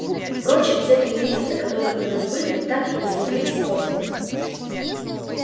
впрочем те три месяца которые у нас были мы так и не смогли использовать